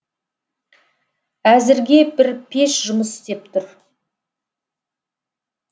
әзірге бір пеш жұмыс істеп тұр